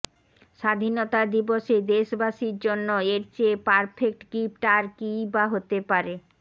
স্বাধীনতা দিবসে দেশবাসীর জন্য এর চেয়ে পারফেক্ট গিফট আর কীই বা হতে পারে